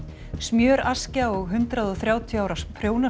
smjöraskja og hundrað og þrjátíu ára